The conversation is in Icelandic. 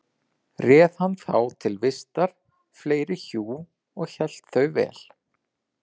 Réð hann þá til vistar fleiri hjú og hélt þau vel.